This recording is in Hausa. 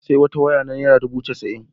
Na sayi wata waya ta naira dubu casa'in.